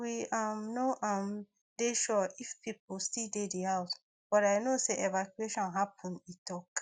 we um no um dey sure if pipo still dey di house but i know say evacuation happun e tok